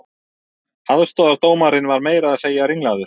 Aðstoðardómarinn var meira að segja ringlaður